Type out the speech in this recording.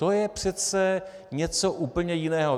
To je přece něco úplně jiného.